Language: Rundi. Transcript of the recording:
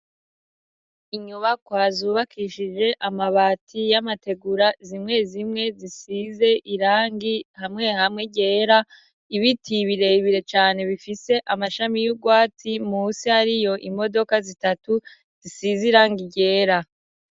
Inyubakwa zubakishije amabati y'amategura ,zimwe zimwe zisize irangi hamwe hamwe ryera ,ibiti ibirebire cane bifise amashami y'urwati musi hariyo imodoka zitatu zisize irangi ryera.